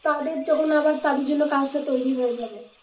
তাদের যখন আবার তাদের জন্য কাজটা তৈরি হয়ে যাবে